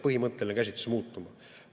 Põhimõtteline käsitlus peab muutuma.